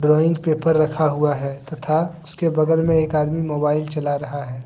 Paper रखा हुआ है तथा उसे बगल मे एक आदमी मोबाइल चला रहा है।